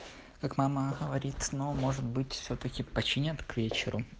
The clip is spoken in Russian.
как мама говорит но может быть всё-таки починят к вечеру